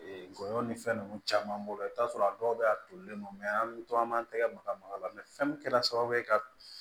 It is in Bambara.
Ee golo ni fɛn nunnu caman b'o la i bi t'a sɔrɔ a dɔw be a tolilen don mɛ an be to an b'an tɛgɛ maga maga la fɛn min kɛra sababu ye ka